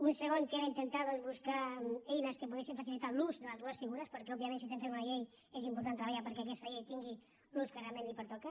un segon que era intentar buscar eines que poguessin facilitar l’ús de les dues figures perquè òbviament si estem fent una llei és important treballar perquè aquesta llei tingui l’ús que realment li pertoca